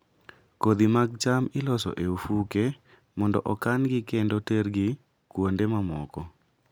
Kodhi mag cham iloso e ofuke mondo okan-gi kendo tergi kuonde mamoko.